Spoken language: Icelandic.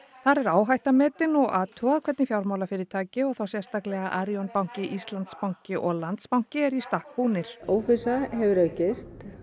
þar er áhætta metin og athugað hvernig fjármálafyrirtæki og þá sérstaklega Arion banki Íslandsbanki og Landsbanki eru í stakk búnir óvissa hefur aukist